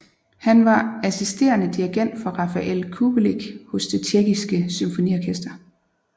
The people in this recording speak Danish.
Han var assisterende dirigent for Rafael Kubelik hos det Tjekkiske Symfoniorkester